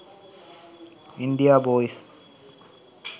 india boys